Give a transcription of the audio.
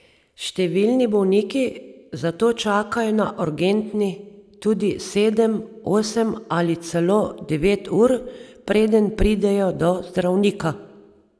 Številni bolniki zato čakajo na urgenci tudi sedem, osem ali celo devet ur, preden pridejo do zdravnika.